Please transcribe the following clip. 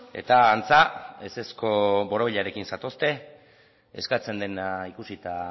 eta antza ezezko borobilarekin zatozte eskatzen dena ikusita